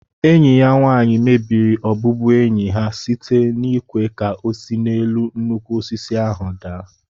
Enyi ya nwanyi mebiri ọbụbụenyi ha site n'ịkwé ka ọ si n'elu nnukwu osisi ahu daa